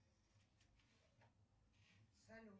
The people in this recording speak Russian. салют